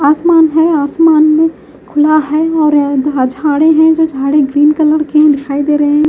आसमान है आसमान में खुला है और झाड़े हैं जो झाड़े ग्रीन कलर के हैं दिखाई दे रहे हैं।